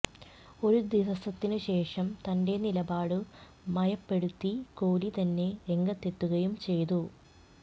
ഒരു ദിവസത്തിനു ശേഷം തന്റെ നിലപാടു മയപ്പെടുത്തി കോലി തന്നെ രംഗത്തെത്തുകയും ചെയ്തു